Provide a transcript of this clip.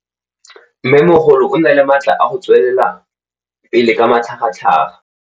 Mmêmogolo o na le matla a go tswelela pele ka matlhagatlhaga.